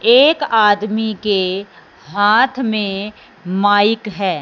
एक आदमी के हाथ में माइक है।